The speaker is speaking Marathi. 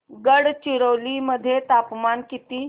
गडचिरोली मध्ये तापमान किती